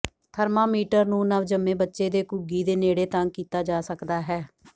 thermometer ਨੂੰ ਨਵਜੰਮੇ ਬੱਚੇ ਦੇ ਘੁੱਗੀ ਦੇ ਨੇੜੇ ਤੰਗ ਕੀਤਾ ਜਾ ਸਕਦਾ ਹੈ